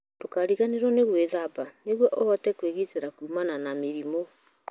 Ndũkariganĩrũo nĩ gwĩthamba nĩguo ũhote kwĩgitĩra kuumana na mĩrimũ.